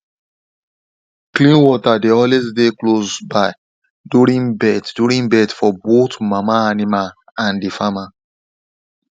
clean water dey always dey close by during birth during birth for both mama animal and the farmer